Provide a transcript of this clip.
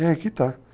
E aí é que está.